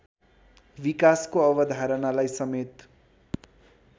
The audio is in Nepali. विकासको अवधारणालाई समेत